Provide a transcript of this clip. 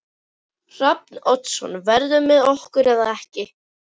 Hrafn Oddsson verður með okkur eða ekki.